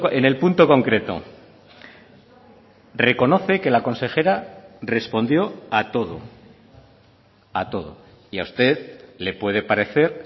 en el punto concreto reconoce que la consejera respondió a todo a todo y a usted le puede parecer